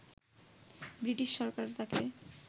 British সরকার তাকে